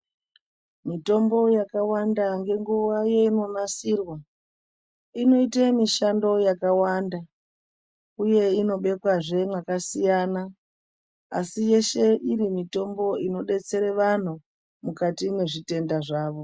Mitombo yakawanda ngenguva yeinonasirwa inoite mishando yakawanda, uye inobekwazve mwakasiyana. Asi yeshe iri mitombo inobetsere vantu mukati mwezvitenda zvavo.